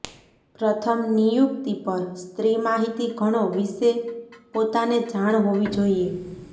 પ્રથમ નિયુક્તિ પર સ્ત્રી માહિતી ઘણો વિશે પોતાને જાણ હોવી જોઈએ